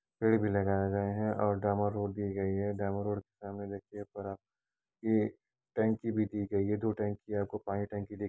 पेड़ भी लगाया गया है और डामर रोड दी गई है। डामर रोड के सामने देखिए पर आप ए टंकी भी दी गई है। दो टंकी है आपको पानी टंकी दे --